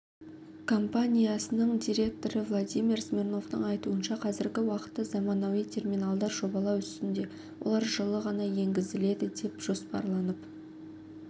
компаниясының директорывладимир смирновтің айтуынша қазіргі уақытта заманауи терминалдар жобалау үстінде олар жылы ғана енгізіледі деп жоспарланып